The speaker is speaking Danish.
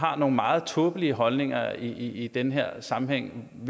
har nogle meget tåbelige holdninger i den her sammenhæng